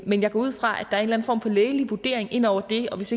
men jeg går ud fra at der er en form for lægelig vurdering inde over det og hvis